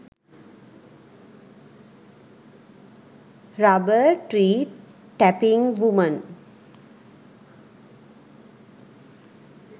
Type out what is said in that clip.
rubber tree tapping women